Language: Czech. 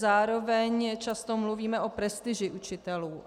Zároveň často mluvíme o prestiži učitelů.